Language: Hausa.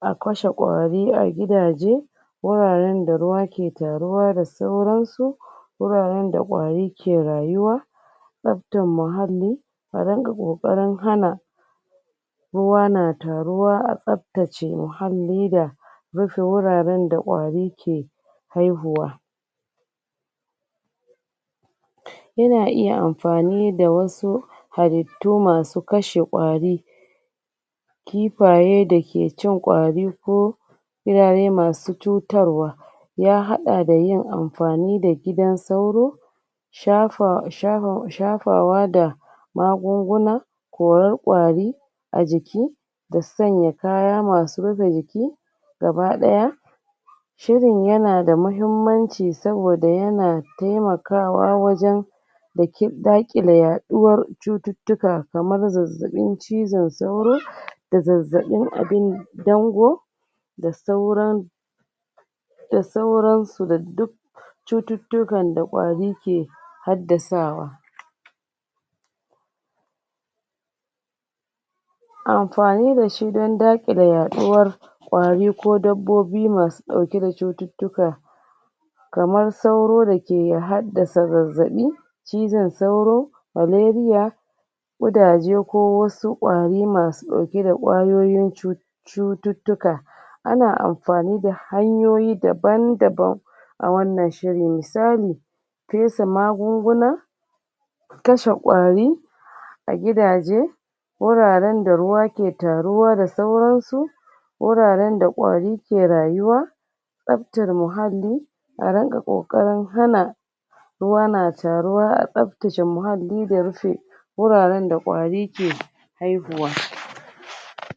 akashi ƙwari a gidaje wurarin da ruwa ki taruwa da sauran su woraran da ƙwari ki rayuwa tsaftan mahalli aringa ƙoƙarin hana ruwa na taruwa atsaftace mahalli rufe wurare da ƙwari ke haihuwa yana iya anfani da wasu halittu masu kashe ƙwari kifaye daki cin ƙwari ko masu cutar wa yahaɗa da yin anfani da gidan sauro shafa shafa um shafawa da magunguna koran ƙwari ajiki da sanya kaya masu rufai jiki gaba ɗaya shirin yanada mahimmanci saboda yana taimakawa wajan uhm dakile yaɗuwar cututuka kamar zazzaɓin cizan sauro da zazaiɓin abin dango da sauran da sauran su da duk cututukan da ƙwari ke haddasawa anfani dashi dan dakile yaɗuwar ƙwari ko dabbobi masu ɗauki da cututuka kamar sauro dake haddasa zazzaɓi cizan sauro malaria ƙudaje ko wasu ƙwari masu ɗauki da ƙwayoyin cu cututuka ana anfani da hanyoyi daban-daban a wannan shiri misali fesa magunguna kashe ƙwari a gidaje wuraran da ruwa ke taruwa da sauran su woraran da ƙwari ki rayuwa tsaftar mahalli aringa ƙoƙarin hana ruwa na taruwa a tsafrtace mahalli da rufe woraran da ƙwari ke haihuwa